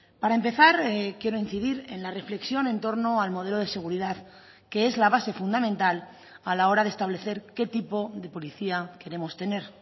para empezar quiero incidir en la reflexión en torno al modelo de seguridad que es la base fundamental a la hora de establecer qué tipo de policía queremos tener